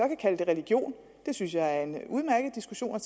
kalde det religion synes jeg er en udmærket diskussion at